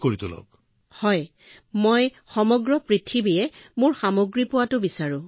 হয় মহোদয় মই গোটেই পৃথিৱীত মোৰ সামগ্ৰী উপলব্ধ কৰিব বিচাৰো